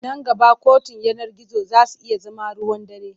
Nan gaba kotun yanar gizo za su iya zama ruwan dare.